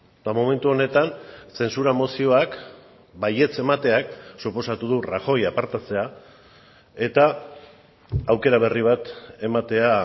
eta momentu honetan zentzura mozioak baietz emateak suposatu du rajoy apartatzea eta aukera berri bat ematea